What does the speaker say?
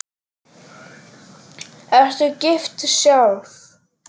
Ertu gift sjálf?